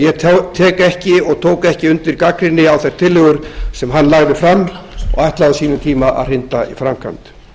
ég tek ekki og tók ekki undir gagnrýni á þær tillögur sem hann lagði fram og ætlaði á sínum tíma að hrinda í framkvæmd